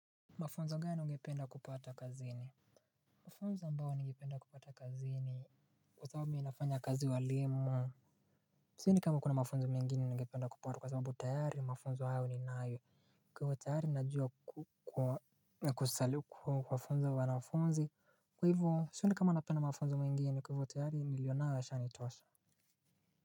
Mafunzo gani am, bao ungependa kupata kazini kwa sababu mi nafanya kazi ya uwalimu sioni kama kunamafunzo ningependa kupata sababu tayari ninao tayari najua kuwafunza wanafunzi kwa hivo sioni kama napenda mafunzo mengine tayari nilionayo yashanitosha.